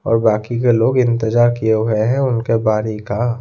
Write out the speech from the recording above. और बाकी के लोग इंतजार किए हुए हैं उनके बरि का--